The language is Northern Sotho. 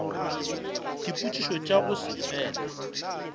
dipotšišo tša go se fele